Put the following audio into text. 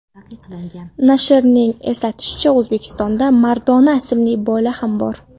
Nashrning eslatishicha, O‘zbekistonda Maradona ismli bola ham bor.